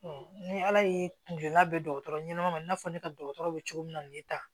ni ala ye kun girinna bɛn dɔgɔtɔrɔ ɲɛnama ma i n'a fɔ ne ka dɔgɔtɔrɔ bɛ cogo min na nin ye tan